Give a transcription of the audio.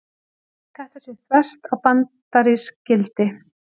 Þetta sé þvert á bandarísk gildi